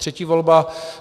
Třetí volba.